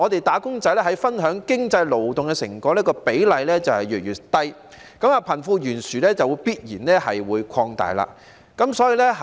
"打工仔"分享經濟勞動成果的比例越來越低，貧富懸殊就必然會擴大。